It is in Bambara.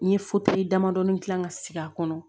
N ye damadɔnin gilan ka sigi a kɔnɔ